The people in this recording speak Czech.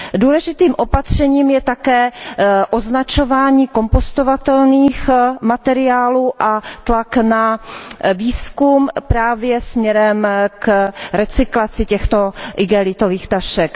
Důležitým opatřením je také označování kompostovatelných materiálů a tlak na výzkum právě směrem k recyklaci těchto igelitových tašek.